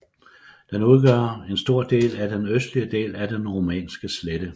Den udgør en stor del af den østlige del af den Rumænske slette